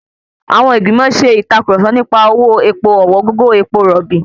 Àwọn ìgbìmò ṣe ìtàkurọ̀sọ nipa owó epo ọ̀wọ́n gógó epo rọ̀bì.